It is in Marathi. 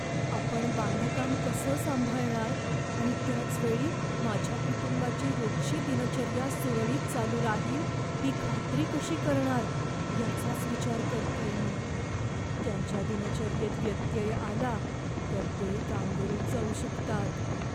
आपण बांधकाम कसं सांभाळणार आणि त्याचवेळी माझ्या कुटुंबाची रोजची दिनचर्या सुरळीत चालू राहील ही खात्री कशी करणार, याचाच विचार करतेय मी. त्यांच्या दिनचर्येत व्यत्यय आला तर ते गांगरून जाऊ शकतात.